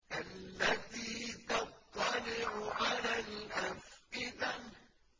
الَّتِي تَطَّلِعُ عَلَى الْأَفْئِدَةِ